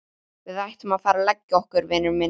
Við ættum að fara að leggja okkur, vinur minn